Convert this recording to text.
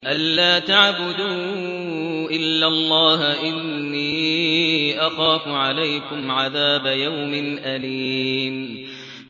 أَن لَّا تَعْبُدُوا إِلَّا اللَّهَ ۖ إِنِّي أَخَافُ عَلَيْكُمْ عَذَابَ يَوْمٍ أَلِيمٍ